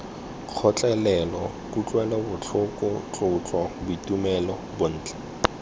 kgotlelelo kutlwelobotlhoko tlotlo boitumelo bontle